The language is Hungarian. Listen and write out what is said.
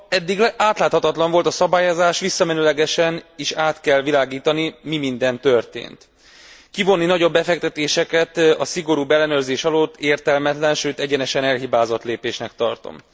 Ha eddig átláthatatlan volt a szabályozás, visszamenőleg is át kell világítani, mi minden történt. Kivonni nagyon befektetéseket a szigorúbb ellenőrzés alól értelmetlen, sőt egyenesen elhibázott lépésnek tartom.